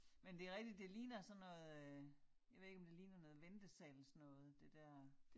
Men det rigtigt det ligner sådan noget øh jeg ved ikke om det ligner noget ventesalsnoget det dér